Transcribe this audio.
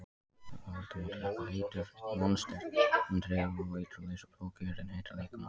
Hún dregur út eitur og leysir blóð, gjörir heitan líkama.